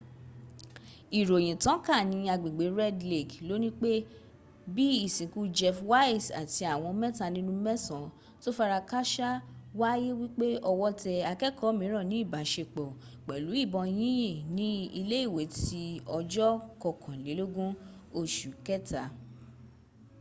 ìròyìn tàn ká ní agbègbè red lake lónìí pé bí ìsìnkú jeff weise àti àwọn mẹta nínú mẹsan tó farakásá wáyé wípé ọwọ́ tẹ akẹ́kọ̀ọ́ míràn ní ìbáṣepọ̀ pẹ̀lú ìbọn yínyìn ní ilé ìwé ti ọjọ̀ kankọkànlélógún oṣù kẹta